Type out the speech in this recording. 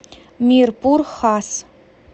мирпур хас